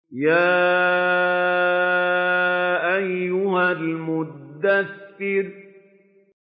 يَا أَيُّهَا الْمُدَّثِّرُ